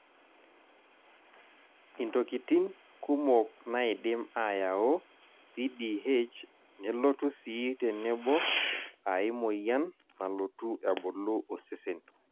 intokitin kumok naidim ayaau CDH nelotu sii tenebo ae moyian nalotu ebulu osesen.